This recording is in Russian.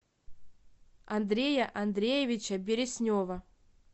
андрея андреевича береснева